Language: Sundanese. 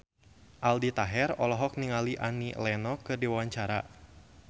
Aldi Taher olohok ningali Annie Lenox keur diwawancara